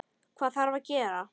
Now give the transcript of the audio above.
Hvað þarf að gera?